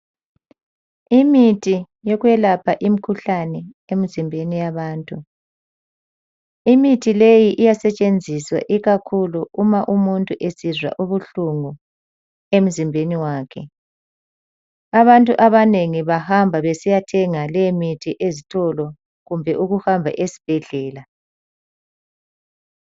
Imithi yokwelapha imkhuhlane emzimbeni yabantu, imithi leyi iyasetshenziswa ikakhulu uma umuntu esizwa ubuhlungu emzimbeni wakhe. Abantu abanengi bahamba besiyathenga le mithi ezitolo kumbe ukuhamba esibhedlela.